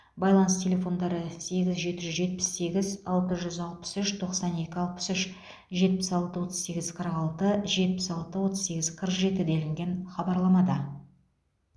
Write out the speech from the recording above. байланыс телефондары сегіз жеті жүз жетпіс сегіз алты жүз алпыс үш тоқсан екі алпыс үш жетпіс алты отыз сегіз қырық алты жетпіс алты отыз сегіз қырық жеті делінген хабарламада